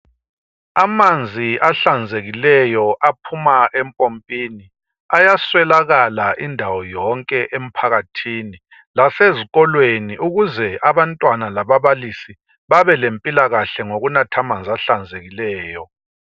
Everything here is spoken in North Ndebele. Amanzi ahlanzekileyo aphuma empompini ayaswelakala indawo yonke emphakathini. Lasezikolweni ukuze abantwana lababalisi babelempilakahle ngokunatha amanzi ehlanzekileyo.